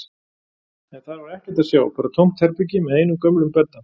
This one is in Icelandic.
En þar var ekkert að sjá, bara tómt herbergi með einum gömlum bedda.